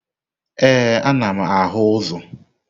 Ee, anam ahu uzo.